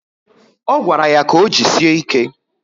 O gwara ya ka o jisie ike